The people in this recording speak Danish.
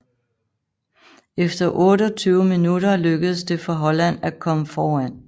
Efter 28 minutter lykkedes det for Holland at komme foran